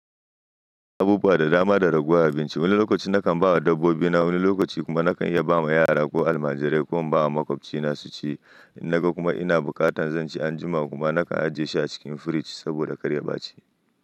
Abubuwa da dama da raguwa a bincike. Wani lokaci na kan ba wa dabbobi na, wani lokaci kuma na kan iya ba ma yara ko Almajirai ko in ba wa makwabci na su ci. Naga kuma ina bukatan zan ci anjima kuma na kan ajiye shi a cikin firiji saboda karya ba ci.